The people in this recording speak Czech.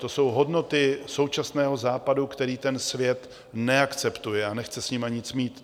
To jsou hodnoty současného Západu, které ten svět neakceptuje a nechce s nimi nic mít.